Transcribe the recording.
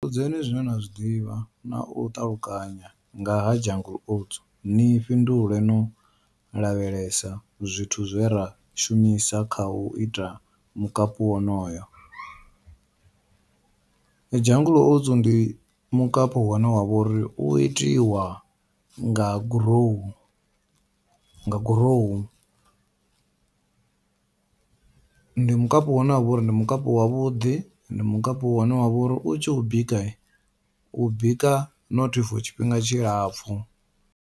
Ri vhudzeni zwine na zwiḓivha nau ṱalukanya nga ha jungle oats ni fhindule no lavhelesa zwithu zwe ra shumisa kha u ita mukapu wonoyo, jungle oats ndi mukapu une wavha uri u itiwa nga gurowu, nga gurowu ndi mukapu une wavha uri ndi mukapu wavhuḓi ndi mukapu wane wavha uri u tshi u bika u bika not for tshifhinga tshilapfhu.